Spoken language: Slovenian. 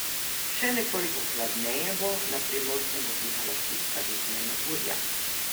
Še nekoliko hladneje bo, na Primorskem bo pihala šibka do zmerna burja.